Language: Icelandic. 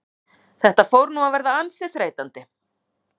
Þetta fór nú að verða ansi þreytandi.